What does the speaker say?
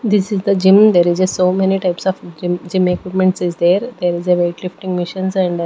This is the gym there is a so many types of gymgym equipments is there there is a weight lifting machines and--